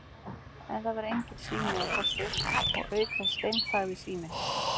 En það var enginn sími á Fossi og auk þess steinþagði síminn.